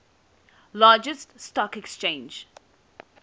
largest stock exchange